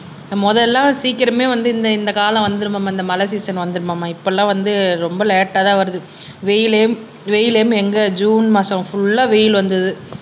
முதல்ல சீக்கிரமே வந்து இந்த இந்த காலம் வந்துரும்மா இந்த மழை சீசன் வந்துரும் மாமா இப்பெல்லாம் வந்து ரொம்ப லேட்டா தான் வருது வெயிலும் வெயிலும் எங்க ஜூன் மாசம் ஃபுல் வெயில் வந்தறது